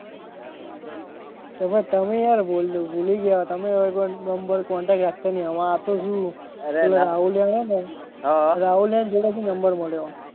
તેમાં તમે યાર ભૂલી ભૂલી ગયા તમે હવે કોઈ નંબર contact રાખતા નથી આ તો શું પેલો રાહુલ જાણે ને રાહુલિયા ની જોડે થી નંબર મળ્યો.